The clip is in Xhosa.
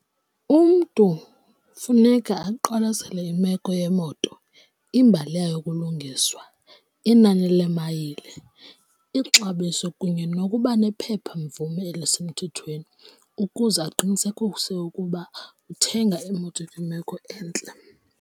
Umntu funeka aqwalasele imeko yemoto, imbali yayo yokulungiswa, inani leemayile, ixabiso kunye nokuba nephepha mvume elisemthethweni ukuze aqinisekise ukuba uthenga imoto ekwimeko entle.